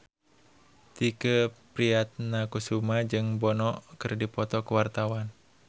Tike Priatnakusuma jeung Bono keur dipoto ku wartawan